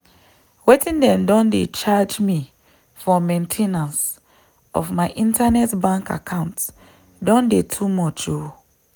wetin dem don dey charge me for main ten ance of my internet bank account don dey too much o.